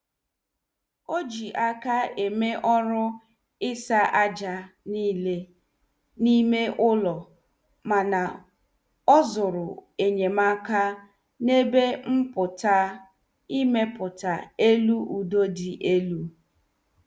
Ọ ji aka eme ọrụ ịsa àjà niile n' ime ụlọ mana ọ zuru enyemaka n' ebe mpụta ịmepụta elu udo dị elu.